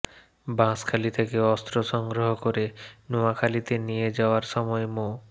বাঁশখালী থেকে অস্ত্র সংগ্রহ করে নোয়াখালীতে নিয়ে যাওয়ার সময় মো